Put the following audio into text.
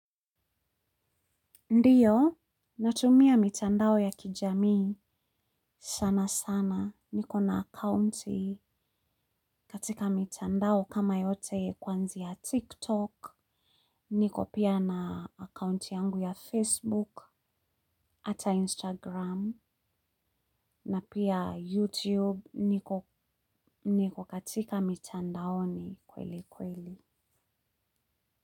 Ndio natumia mitandao ya kijamii sana sana niko na akaunti katika mitandao kama yote kuanzia TikTok, niko pia na account yangu ya Facebook, ata Instagram, na pia YouTube niko niko katika mitandaoini kweli kweli.